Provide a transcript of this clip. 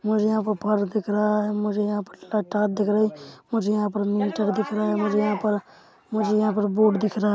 मुझे यहाँ पर पर्स दिख रहा है मुझे यहाँ पता दिख रही मुझे यहाँ पर मीटर दिख रहा है मुझे यहाँ पर मुझे यहाँ पर बोर्ड दिख रहा है।